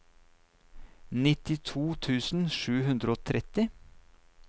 nittito tusen sju hundre og tretti